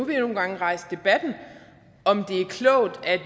vi har nogle gange rejst debatten om det er klogt at